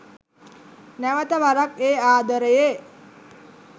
නැවත වරක් ඒ ආදරයේ